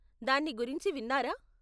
దాని గురించి విన్నారా?